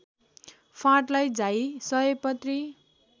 फाँटलाई जाई सयपत्री